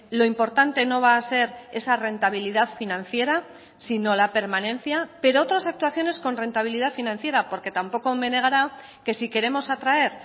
lo importante no va a ser esa rentabilidad financiera sino la permanencia pero otras actuaciones con rentabilidad financiera porque tampoco me negará que si queremos atraer